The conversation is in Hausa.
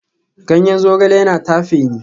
Ganyen zogale yana tafe ni